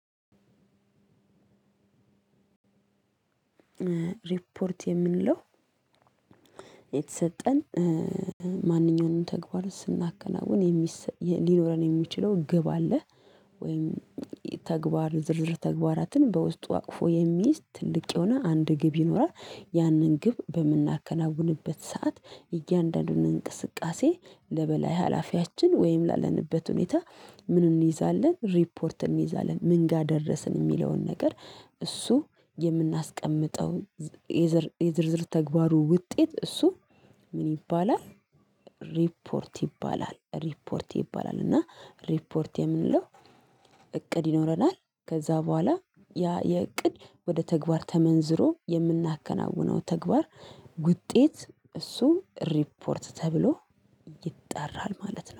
ሪፖርት የምንለው የተሰጠን ማንኛውንም ተግባር ስናከናውን የሚሰጥ ሊኖረን የሚችለው ግብ አለ። ወይም ተግባር ዝርዝር ተግባራትን በውስጡ አቅፎ የሚይዝ ትልቅ የሆነ አንድ ግብ ይኖራል። ያንን ግብ በምናከናውንበት ሰዓት እያንዳንዱን እንቅስቃሴ ለበላይ ሀላፊያችን ወይም ላለንበት ሁኔታ ምን እንይዛለን ሪፖርት እንይዛለን ምን ጋር ደረስን የሚለውን ነገር እሱ የምናስቀምጠው የዝር የዝርዝር ተግባሩ ውጤት እሱ ምን ይባላል? ሪፖርት ይባላል ሪፖርት ይባላል። እና ሪፖርት የምንለው። እቅድ ይኖረናል ከዛ በኋላ ያ የእቅድ ወደ ተግባር ተመንዝሮ የምናከናውነው ተግባር ውጤት እሱ ሪፖርት ተብሎ ይጠራል ማለት ነው